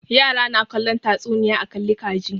Yara na kallon tatsuniya a kalli ka ji.